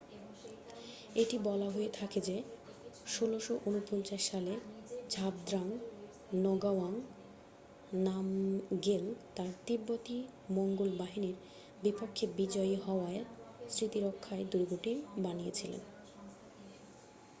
এটি বলা হয়ে থাকে যে 1649 সালে ঝাবদ্রাং নগাও্যাং নামগ্যেল তার তিব্বতী মঙ্গোল বাহিনীর বিপক্ষে জয়ী হওয়ার স্মৃতিরক্ষায় দূর্গটি বানিয়েছিলেন